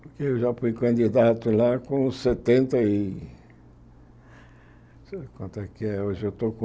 Porque eu já fui candidato lá com setenta e... Hoje eu estou com